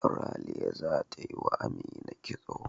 Ralia zata yi wa Amina kitso.